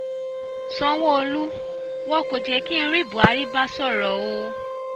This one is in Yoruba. sanwó-olú wọn kò jẹ́ kí n rí buhari bá sọ̀rọ̀ o